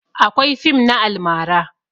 Akwai fim na almara